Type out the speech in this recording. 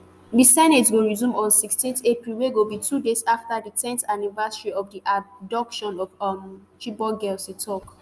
di senate go resume on sixteen april wey go be two days after di ten th anniversary of di abduction of um di chibok girls e tok